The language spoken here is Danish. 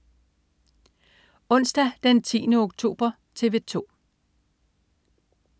Onsdag den 10. oktober - TV 2: